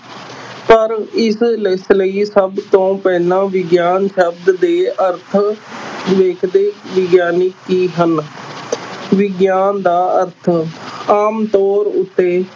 ਪਰ ਇਸ ਸਭ ਤੋਂ ਪਹਿਲਾਂ ਵਿਗਿਆਨ ਸ਼ਬਦ ਦੇ ਅਰਥਾਂ ਲਿਖਦੇ ਵਿਗਿਆਨੀ ਕੀ ਹਨ ਵਿਗਿਆਨ ਦਾ ਅਰਥ ਆਮ ਤੌਰ ਉੱਤੇ